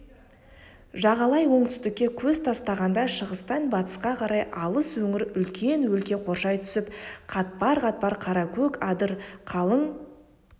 жағалай оңтүстікке көз тастағанда шығыстан батысқа қарай алыс өңір үлкен өлке қоршай түсіп қатпар-қатпар қара көк адыр қалың